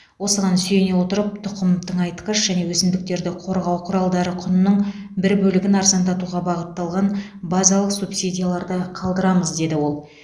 осыған сүйене отырып тұқым тыңайтқыш және өсімдіктерді қорғау құралдары құнының бір бөлігін арзандатуға бағытталған базалық субсидияларды қалдырамыз деді ол